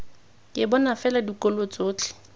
ke bona fela dikolo tsotlhe